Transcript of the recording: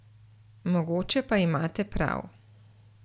Mogoče pa imate prav.